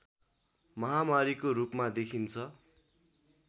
महामारीको रूपमा देखिन्छ